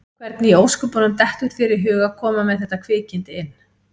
Hvernig í ósköpunum dettur þér í hug að koma með þetta kvikindi inn?